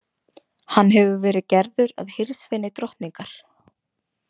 Hann hefur verið gerður að hirðsveini drottningar.